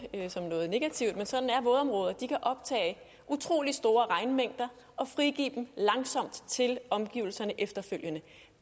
som noget negativt men sådan er vådområder de kan optage utrolig store regnmængder og frigive dem langsomt til omgivelserne efterfølgende